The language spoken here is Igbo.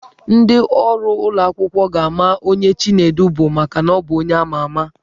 Ndị ọrụ ụlọ akwụkwọ ga-ama onye Chinedu bụ maka na ọ bụ onye ama ama.